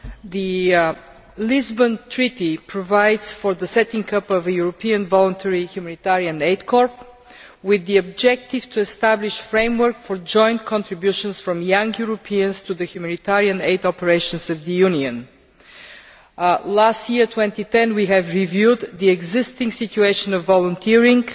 The Lisbon Treaty provides for the setting up of a European voluntary humanitarian aid corps with the objective of establishing a framework for joint contributions from young Europeans to the humanitarian aid operations of the Union. Last year, 2010, we reviewed the existing situation of volunteering,